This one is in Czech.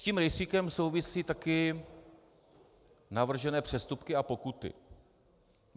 S tím rejstříkem souvisí taky navržené přestupky a pokuty.